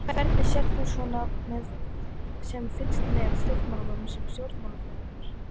Hvernig sérð þú svona sem fylgist með stjórnmálum sem stjórnmálafræðingur?